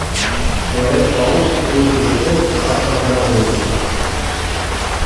человек паук третья часть враг в отражении